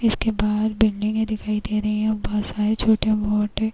इसके बाहर बिल्डिंगे दिखाई दे रही है बहोत सारे छोटे- मोटे --